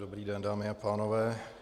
Dobrý den, dámy a pánové.